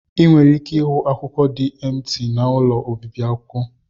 Ị nwere ike ịhụ akwụkwọ dị emti n'ụlọ obibi akwụkwọ.